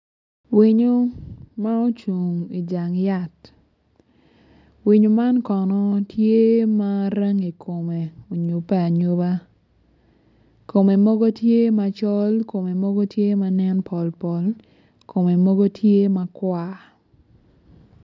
Winyu ma ocung i jang yat winyu man kono tye ma rangi kome onyupe anyupa kome mogo tye macol kome mogo tye ma nen pol pol kome mogo tye makwar